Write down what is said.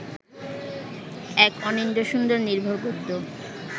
এক অনিন্দ্যসুন্দর নির্ভার গদ্য